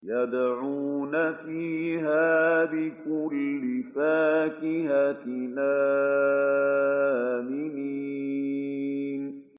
يَدْعُونَ فِيهَا بِكُلِّ فَاكِهَةٍ آمِنِينَ